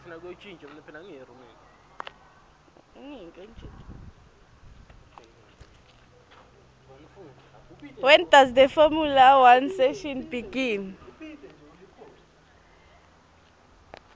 when does the formula one season begin